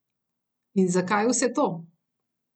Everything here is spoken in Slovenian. In zakaj vse to?